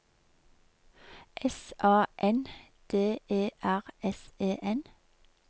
S A N D E R S E N